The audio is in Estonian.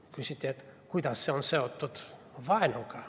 Küsiti, et kuidas see on seotud vaenuga.